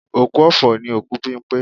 Òkú ọ̀fọ̀ ni òkú Bímpé